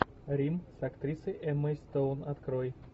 рим с актрисой эммой стоун открой